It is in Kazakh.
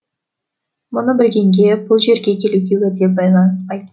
мұны білгенге бұл жерге келуге уәде байланыспай